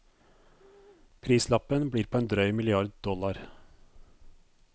Prislappen blir på en drøy milliard dollar.